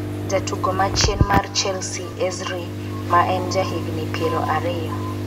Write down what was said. jatugo ma chien mar Chelsea Ezri, ma en ja higni piero ariyo